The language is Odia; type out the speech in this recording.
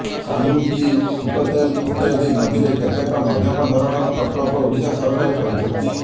ସାଲୁଙ୍କୀ ସୁକତେଲ୍ ଇତ୍ୟାଦି ନଦୀରେ କେତେକ ମଧ୍ୟମ ଧରଣର ପ୍ରକଳ୍ପ ଓଡ଼ିଶା ସରକାର କରିଛନ୍ତି